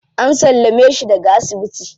An sallame shi daga asibiti.